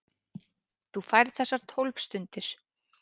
Þú færð þessar tólf stundir.